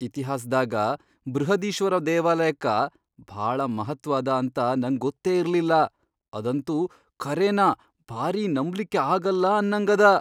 ಇತಿಹಾಸ್ದಾಗ ಬೃಹದೀಶ್ವರ ದೇವಾಲಯಕ್ಕ ಭಾಳ ಮಹತ್ವ್ ಅದ ಅಂತ ನಂಗ್ ಗೊತ್ತೇ ಇರ್ಲಿಲ್ಲಾ, ಅದಂತೂ ಖರೇನ ಭಾರೀ ನಂಬ್ಲಿಕ್ಕೆ ಆಗಲ್ಲ ಅನ್ನಂಗ್ ಅದ.